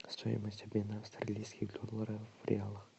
стоимость обмена австралийских долларов в реалы